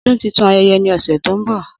Odun titun ayẹyẹ ni ose to nbo.